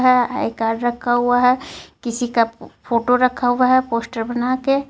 Ah I card रखा हुआ हे किसीका फोटो रखा हुआ हे पोस्टर बना के.